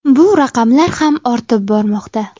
Bu raqamlar ham ortib bormoqda.